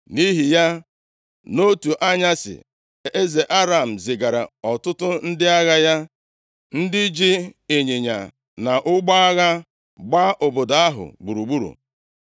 Nʼihi ya, nʼotu anyasị eze Aram zigara ọtụtụ ndị agha ya, ndị ji ịnyịnya na ụgbọ agha gbaa obodo ahụ gburugburu.